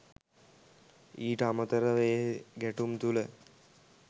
ඊට අමතරව ඒ ගැටුම් තුළ